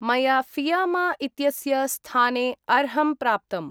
मया फियामा इत्यस्य स्थानेअर्हम् प्राप्तम्।